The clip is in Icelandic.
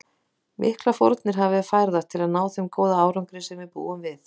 Miklar fórnir hafa verið færðar til að ná þeim góða árangri sem við búum við.